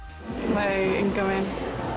nei engan veginn